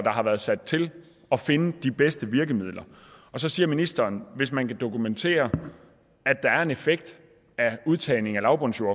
har været sat til at finde de bedste virkemidler så siger ministeren hvis man kan dokumentere at der er en effekt af udtagning af lavbundsjord